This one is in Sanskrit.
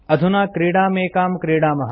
अधुना क्रीडामेकां क्रीडामः